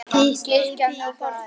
Kirkjan og kortin.